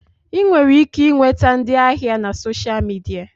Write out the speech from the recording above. Ị nwere ike nweta ndị ahịa na sosha midia.